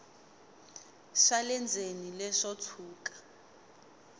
swa le ndzeni leswo tshuka